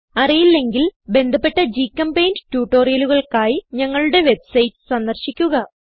അറിയില്ലെങ്കിൽ ബന്ധപ്പെട്ട ഗ്ചെമ്പെയിന്റ് ട്യൂട്ടോറിയലുകൾക്കായി ഞങ്ങളുടെ വെബ്സൈറ്റ് സന്ദർശിക്കുക